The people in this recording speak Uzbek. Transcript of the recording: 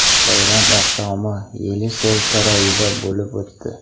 Bayram oqshomi Yelisey saroyida bo‘lib o‘tdi.